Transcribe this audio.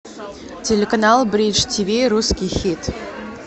телеканал бридж тиви русский хит